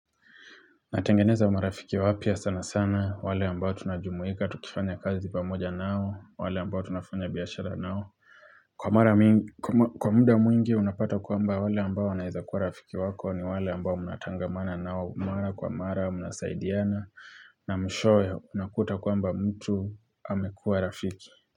Natengeneza marafiki wapya sana sana, wale ambao tunajumuika, tukifanya kazi pamoja nao, wale ambao tunafanya biashara nao. Kwa muda mwingi, unapata kwamba wale ambao wanaweza kuwa rafiki wako ni wale ambao munatangamana nao, mara kwa mara, munasaidiana, na mwishowe unakuta kwamba mtu amekua rafiki.